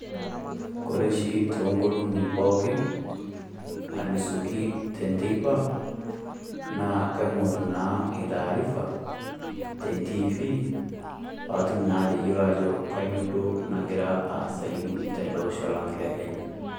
Kore oshi too ngolong'i pooki alusoki enteipa naa kaing'orr naa taarifa, tentiifi paa atum naa atayiolo ajo kanyio duo nagira aasau tele Osho Lang' lekenya.